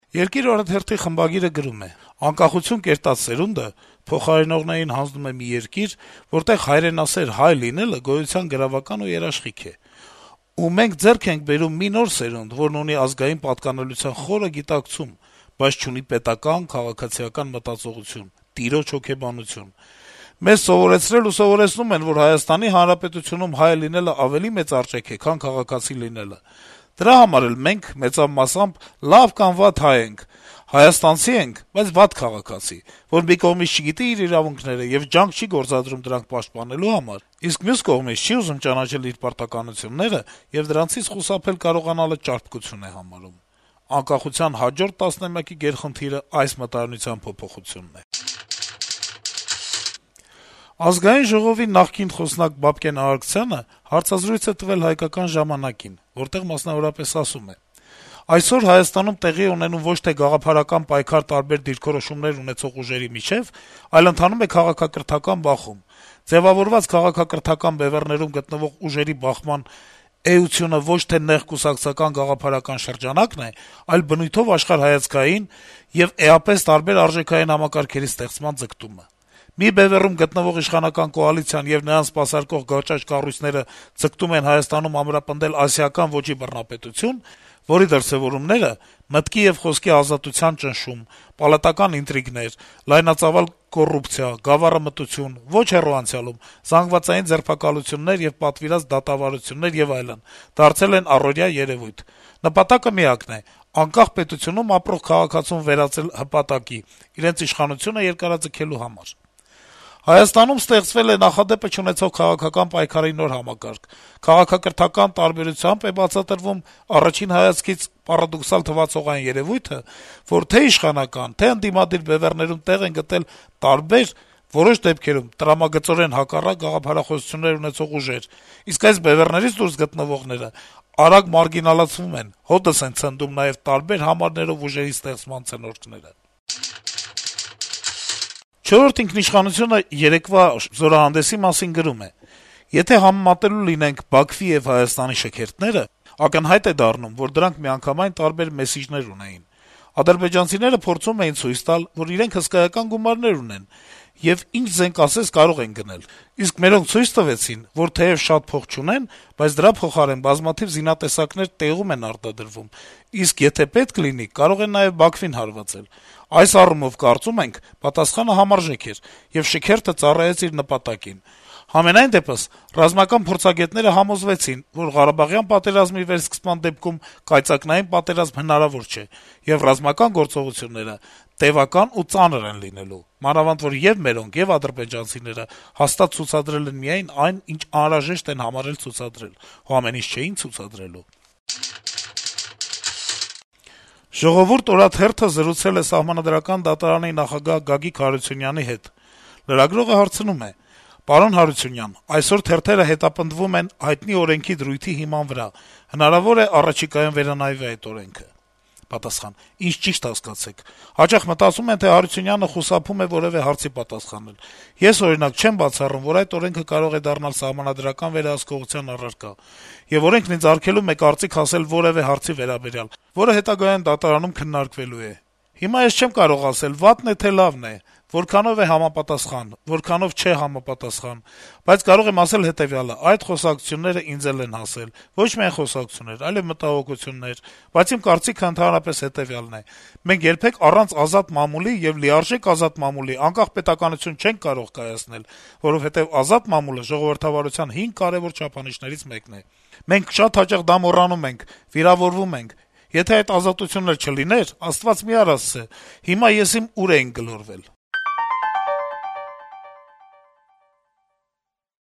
«Երկիր» օրաթերթի խմբագիրը գրում է. - «Անկախություն կերտած սերունդը փոխարինողներին հանձնում է մի երկիր, որտեղ հայրենասեր հայ լինելը գոյության գրավական ու երաշխիք է: Ու մենք ձեռք ենք բերում մի նոր սերունդ, որն ունի ազգային պատկանելության խոր գիտակցում, բայց չունի պետական, քաղաքացիական մտածողություն, տիրոջ հոգեբանություն: Մեզ սովորեցրել ու սովորեցնում են, որ Հայաստանի Հանրապետությունում հայ լինելն ավելի մեծ արժեք է, քան քաղաքացի լինելը: Դրա համար էլ մենք մեծավ մասամբ լավ կամ վատ հայ ենք, հայաստանցի ենք, բայց` վատ քաղաքացի, որ մի կողմից չգիտի իր իրավունքները եւ ջանք չի գործադրում դրանք պաշտպանելու համար, իսկ մյուս կողմից՝ չի ուզում ճանաչել իր պարտականությունները եւ դրանցից խուսափել կարողանալը ճարպկություն է համարում: Անկախության հաջորդ տասնամյակի գերխնդիրը այս մտայնության փոփոխությունն է»: Ազգային ժողովի նախկին խոսնակ Բաբկեն Արարքցյանը հարցազրույց է տվել «Հայկական ժամանակ»-ին, որտեղ, մասնավորապես, ասում է. - «Այսօր Հայաստանում տեղի է ունենում ոչ թե գաղափարական պայքար տարբեր դիրքորոշումներ ունեցող ուժերի միջեւ, այլ ընթանում է քաղաքակրթական բախում: Ձեւավորված քաղաքակրթական բեւեռներում գտնվող ուժերի բախման էությունը ոչ թե նեղ կուսակցական գաղափարական շրջանակն է, այլ բնույթով աշխարհայացքային եւ էապես տարբեր արժեքային համակարգերի ստեղծման ձգտումը: Մի բեւեռում գտնվող իշխանական կոալիցիան եւ նրան սպասարկող գաճաճ կառույցները ձգտում են Հայաստանում ամրապնդել ասիական ոճի բռնապետություն, որի դրսեւորումները` մտքի եւ խոսքի ազատության ճնշում, պալատական ինտրիգներ, լայնածավալ կոռուպցիա, գավառամտություն, ոչ հեռու անցյալում` զանգվածային ձերբակալություններ եւ պատվիրված դատավարություններ եւ այլն, դարձել են առօրյա երեւույթ: Նպատակը միակն է` անկախ պետությունում ապրող քաղաքացուն վերածել հպատակի` իրենց իշխանությունը երկարաձգելու համար: Հայաստանում ստեղծվել է նապադեպը չունեցող քաղաքական պայքարի նոր համակարգ. քաղաքակրթական տարբերությամբ է բացատրվում առաջին հայացքից պարադոքսալ թվացող այն երեւույթը, որ թե' իշխանական, թե' ընդդիմադիր բեւեռներում տեղ են գտել տարբեր, որոշ դեպքերում` տրամագծորեն հակառակ գաղափարախոսություններ ունեցող ուժեր: Իսկ այս բեւեռներից դուրս գտնվող բեւեռները արագ մարգինալացվում են, հօդս են ցնդում նաեւ տարբեր համարներով ուժերի ստեղծման ցնորքները»: «Չորրորդ ինքնիշխանություն»-ը երեկվա զորահանդեսի մասին գրում է. - «Եթե համեմատելու լինենք Բաքվի եւ Երեւանի շքերթները, ակնհայտ է դառնում, որ դրանք միանգամայն տարբեր «մեսիջներ» ունեին: Ադրբեջանցիները փորձում էին ցույց տալ, որ իրենք հսկայական գումարներ ունեն եւ ինչ զենք ասես` կարող են գնել, իսկ մերոնք ցույց տվեցին, որ թեեւ շատ փող չունեն, բայց դրա փոխարեն բազմաթիվ զինատեսակներ տեղում են արտադրվում, իսկ եթե պետք լինի, կարող են նաեւ Բաքվին հարվածել: Այս առումով, կարծում ենք, պատասխանը համարժեք էր, եւ շքերթը ծառայեց իր նպատակին: Համենայն դեպս` ռազմական փորձագետները համոզվեցին, որ ղարաբաղյան պատերազմի վերսկսման դեպքում «կայծակնային» պատերազմ հնարավոր չէ, եւ ռազմական գործողությունները տեւական ու ծանր են լինելու: Մանավանդ որ ե'ւ մերոնք, ե'ւ ադրբեջանցիները հաստատ ցուցադրել են միայն այն, ինչ անհրաժեշտ են համարել ցուցադրել: Հո ամեն ինչ չէի՞ն ցուցադրելու»: «Ժողովուրդ» օրաթերթը զրուցել է Սահմանադրական դատարանի նախագահ Գագիկ Հարությունյանի հետ: Լրագրողը հարցնում է. - «Այսօր թերթերը հետապնդվում են հայտնի օրենքի հիման վրա: Հնարավո՞ր է` առաջիկայում վերանայվի այդ օրենքը»: Պատասխան. - «Ինձ ճի'շտ հասկացեք: Հաճախ մտածում են, թե Հարությունյանը խուսափում է որեւէ հարցի պատասխանել: Ես, օրինակ, չեմ բացառում, որ այդ օրենքը կարող է դառնալ սահմանադրական վերահսկողության առարկա, եւ օրենքն ինձ արգելում է կարծիք ասել որեւէ հարցի վերաբերյալ, որը հետագայում դատարանում քննարկվելու է: Հիմա ես չեմ կարող ասել` վատն է, թե լավն է, որքանով է համապատասխան, որքանով չէ համապատասխան: Բայց կարող եմ ասել հետեւյալը. այդ խոսակցությունները ինձ էլ են հասել, ոչ միայն խոսակցություններ, այլեւ մտահոգություններ: Բայց իմ կարծիքն ընդհանրապես հետեւյալն է. մենք երբեք առանց ազատ մամուլի եւ լիարժեք ազատ մամուլի անկախ պետականություն չենք կարող կայացնել, որովհետեւ ազատ մամուլը ժողովրդավարության 5 կարեւոր չափանիշներից մեկն է: Մենք շատ հաճախ դա մոռանում ենք, վիրավորվում ենք… Եթե այդ ազատությունն էլ չլիներ, Աստված մի արասցե, հիմա եսիմ ուր էինք գլորվել»: